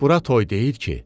Bura toy deyil ki.